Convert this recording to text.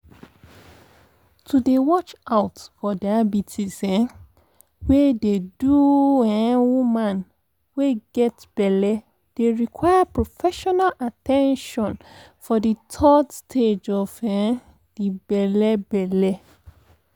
to dey watch out for diabetes um wey dey do um woman wey get belle dey require professional at ten tion for de third stage of um de belle belle